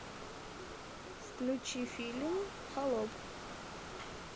включи фильм холоп